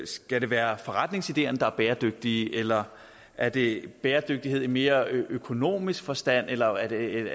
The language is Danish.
skal det være forretningsideerne der er bæredygtige eller er det bæredygtighed i mere økonomisk forstand eller er det